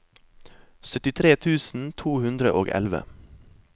syttitre tusen to hundre og elleve